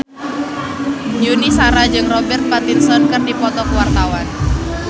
Yuni Shara jeung Robert Pattinson keur dipoto ku wartawan